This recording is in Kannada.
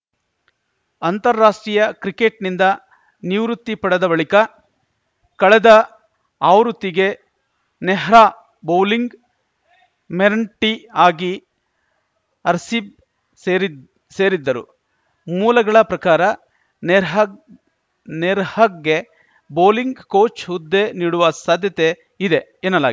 ಅಂತಾರಾಷ್ಟ್ರೀಯ ಕ್ರಿಕೆಟ್‌ನಿಂದ ನಿವೃತ್ತಿ ಪಡೆದ ಬಳಿಕ ಕಳೆದ ಆವೃತ್ತಿಗೆ ನೆಹ್ರಾ ಬೌಲಿಂಗ್‌ ಮೆಂಟಿ ಆಗಿ ಆರ್‌ಸಿಬ್ ಸೇರಿ ಸೇರಿದ್ದರು ಮೂಲಗಳ ಪ್ರಕಾರ ನೆರ್ಹಗ್ ನೆರ್ಹಗ್ಗೆ ಬೌಲಿಂಗ್‌ ಕೋಚ್‌ ಹುದ್ದೆ ನೀಡುವ ಸಾಧ್ಯತೆ ಇದೆ ಎನ್ನಲಾ